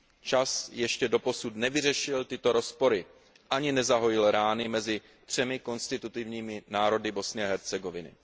Čas ještě doposud nevyřešil tyto rozpory, ani nezahojil rány mezi třemi konstitutivními národy Bosny a Hercegoviny.